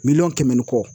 Miliyɔn kɛmɛ ni kɔ